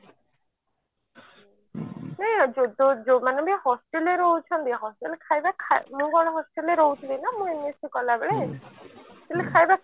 ନାଇଁ ଯୋଉମାନେ ବି hostel ରେ ରହୁଛନ୍ତି hostel ଖାଇବା ମୁଁ କଣ hostel ରେ ରହୁଥିଲି ନା ମୁଁ MAC କଲା ବେଳେ ମାନେ ଖାଇବା